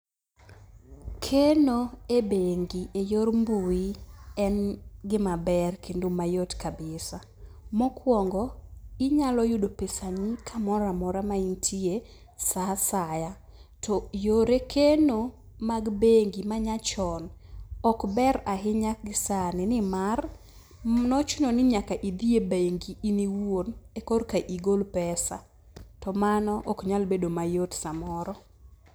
Keno e bengi e yor mbui en gima ber kendo mayot kabisa. Mokwongo inyalo yudo pesani kamoroamora ma intie sa asaya. To yore keno mag bengi manyachon ok ber ahinya sani. Nimar nochuno ni nyaka idhiye ebengi in iwuon eka igol pesa to mano ok nyal bedo mayot samoro.